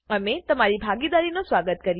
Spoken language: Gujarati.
અમે તમારી ભાગીદારીનો સ્વાગત કરીએ છે